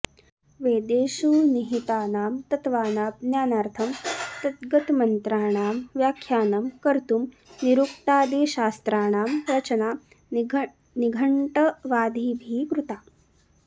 वेदेषु निहितानां तत्त्वानां ज्ञानार्थं तद्गतमन्त्राणां व्याख्यानं कर्त्तुं निरुक्तादिशास्त्राणां रचना निघण्ट्वादिभिः कृता